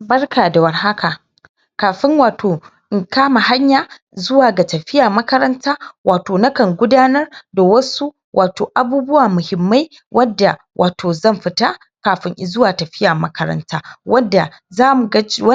Barka da war haka kafin wato in kama hanya zuwa ga tafiya makaranta wato nakan gudanar da wasu wato abubuwa muhimmai wadda wato zan fita kafin izu wa tafiya makaranta wadda za mu ga cewa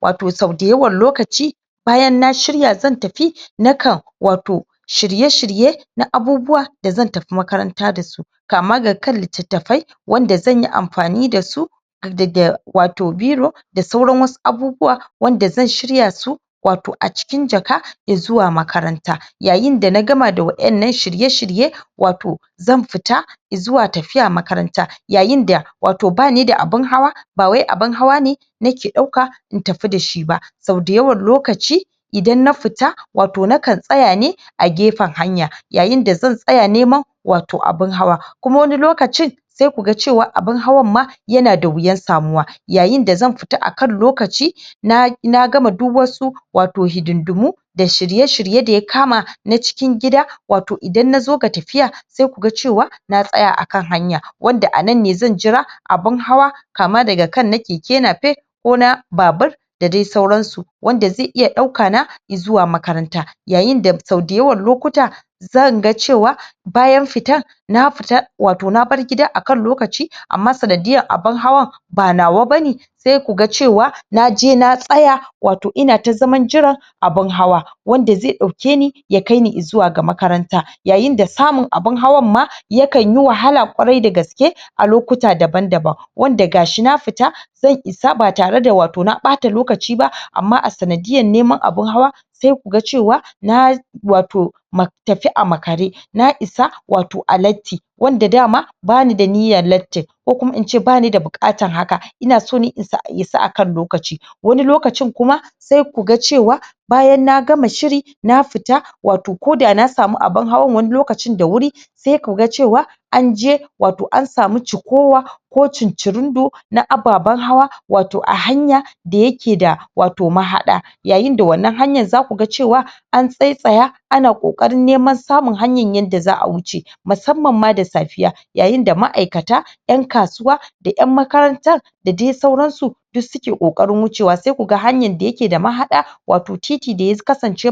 wadda so dayawan lokaci bayan na shirya zan tafi nakan wato shirye shirye na abubuwa da zan tafi makaranta dasu kama da ga kan littattafai wanda zanyi anfani dasu da da wato biro, da da wato biro da sauran wasu abubuwa wanda zan shiryasu su wato a cikin jaka izuwa makaranta yayin da na gama da wadannan shirye shirye wato zan fita i zuwa tafiya makaranta, yayin da wato banida abin hawa bawai abin hawa ne nake dauka in tafi dashi ba sau da yawan lokaci idan na fita wato nakan wato nakan tsayane a gefen hanya yayin da zan tsaya nem yayin da zan tsaya neman wato abin hawa kuma wani lokacin sai kuga cewa abin hawan ma ya na da huyan samuwa yayin da zan fita akan lokaci na na gama duk wasu wato hidindimu da shirye shirye da ya kama na cikin gida wato idan na zo ga tafiya sai kuga cewa na tsaya akan hanya wanda a nan ne zan jira abun hawa kama da ga kan na keke napef ko na babur da dai sauransu wanda zai iya dauka na i zuwa makaranta yayin da sau da yawan lokuta zan ga cewa bayan fita nafita wato nabar gida akan lokaci amma sanadiyan abin hawan ba nawa bane sai kuga cewa na je na tsaya wato ina ta zaman jiran abun hawa wanda zai daukeni ya kaini i zuwa ga makaranta yayin da samun abun hawan ma ya kan yi da samun abun hawan ma yakan yi wahala kwarar da kwarai da gaske a lokuta da ban daban wanda gashi na fita zan isa ba tare da wato na bata lokaci ba amma a sanadiyan neman abun hawa sai ku ga cewa na wato ma tafi a makare na isa wato a latti wadda wanda daman bani da niyan latttin ko kuma ince banida bukatan hakan ina so ne na isa akan lokaci wani lokacin kuma sai kuga cewa bayan na gama shiri na fita wato koda na sami abin hawan wani lokacin da huri sai ku ga cewan an je wato an samu cikowa ko cincirindo na ababan hawa wato a hanya da yakeda wato mahada yayin da wannan hanyan za kuga cewa an tsattsaya ana kokarin neman hanyan samun yadda zaa huce musamman ma da safiya yayin da maaikata, yan kasuwa, da yan makaran tan da dai sauransu duk suke kokarin hucewa, sai kuga hanya da yakeda mahada wato titi da ya kasance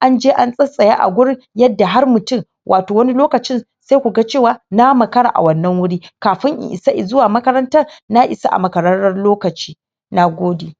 an je an tsattsaya a gurin yadda har mutun wato wani lokacin sai kuga cewa na makara a wannan huri kafin na isa izuwa makarant na isa a makararen lokaci na gode